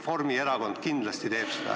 Reformierakond kindlasti teeb seda.